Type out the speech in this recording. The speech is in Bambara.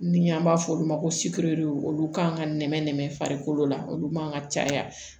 Ni an b'a f'olu ma ko olu kan ka nɛmɛ nɛmɛ farikolo la olu man ka caya